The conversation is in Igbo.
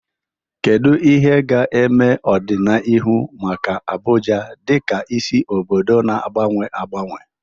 Kedu ihe ga-eme n'ọdịnihu maka Abuja dịka isi obodo na-agbanwe agbanwe?